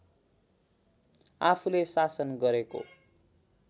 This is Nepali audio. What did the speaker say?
आफूले शासन गरेको